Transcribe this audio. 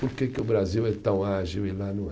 Por que que o Brasil é tão ágil e lá não é?